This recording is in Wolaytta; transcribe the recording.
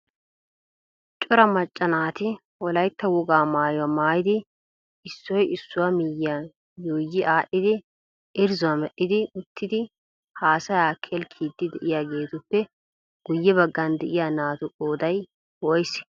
Cora macca naati wolayttaa wogaa maayyuwa maayyidi issoy issuwaa miyyiyan yuuyyi aadhdhidi irzzuwaa medhdhidi uttidi haassaya kelkkiide de'iyaageetuppe guyye baggan de'iyaa naatu qqoday woysse?